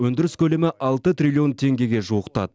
өндіріс көлемі алты триллион теңгеге жуықтады